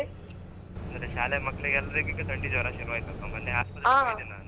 ಅಂದ್ರೆ ಶಾಲೆ ಮಕ್ಕಳಿಗ್ ಎಲ್ಲರಿಗೀಗ ಥಂಡಿ ಜ್ವರ ಶುರುಆಯ್ತಲ್ವಾ ಮೊನ್ನೆ .